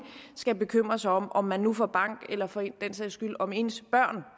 skal bekymre sig om om man nu får bank eller for den sags skyld om ens børn